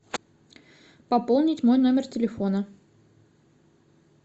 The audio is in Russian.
пополнить мой номер телефона